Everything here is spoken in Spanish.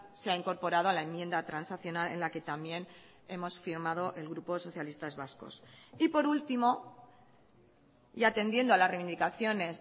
se ha incorporado a la enmienda transaccional en la que también hemos firmado el grupo socialistas vascos y por último y atendiendo a las reivindicaciones